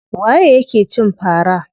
Waye ya ke cin fara?